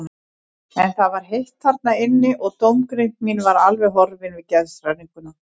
En það var heitt þarna inni og dómgreind mín var alveg horfin við geðshræringuna.